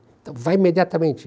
Então vai imediatamente.